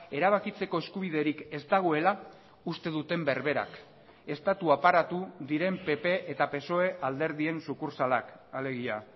erabakitzeko eskubiderik ez dagoela uste duten berberak estatu aparatu diren pp eta psoe alderdien sukurtsalak alegia